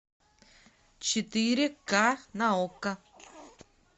четыре ка на окко